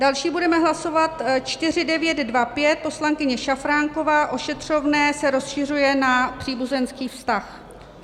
Další budeme hlasovat 4925, poslankyně Šafránková, ošetřovné se rozšiřuje na příbuzenský vztah.